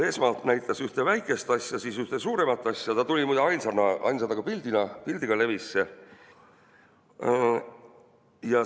Esmalt ta näitas ühte väikest asja, siis suuremat asja, ta tuli muide ainsana pildiga levisse.